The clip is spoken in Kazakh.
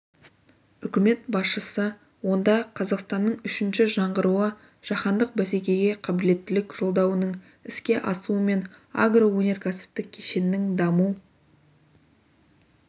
үкімет басшысы онда қазақстанның үшінші жаңғыруы жаһандық бәсекеге қабілеттілік жолдауының іске асуы мен агроөнеркәсіптік кешеннің даму